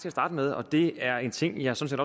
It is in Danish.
at starte med og det er en ting jeg sådan